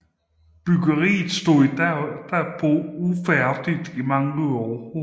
Byggeriet stod derpå ufærdigt i mange år